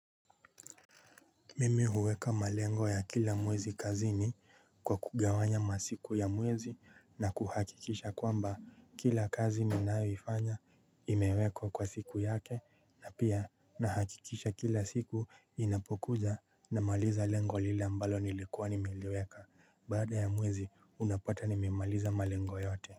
Mimi huweka malengo ya kila mwezi kazini kwa kugawanya masiku ya mwezi na kuhakikisha kwamba kila kazi ninayoifanya imewekwa kwa siku yake na pia nahakikisha kila siku ninapokuja namaliza lengo lile ambalo nilikuwa nimeliweka. Baada ya mwezi unapata nimemaliza malengo yote. Kwa hivyo.